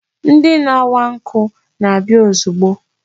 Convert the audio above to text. Ndị na-awa nkụ na-abịa ozugbo.